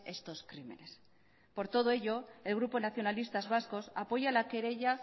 estos crímenes por todo ello el grupo nacionalistas vascos apoya la querella